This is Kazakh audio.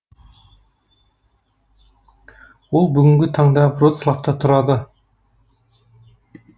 ол бүгінгі таңда вроцлавта тұрады